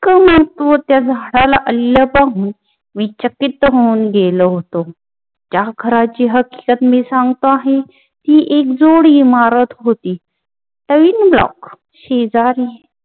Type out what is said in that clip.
त्या झाडाला होऊन गेलं होत त्या घराची हकीकत मी सांगतो आहे ती एकजोडी इमारत होती शेजारी